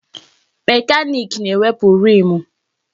Mekaniki na-ewepụ riimu.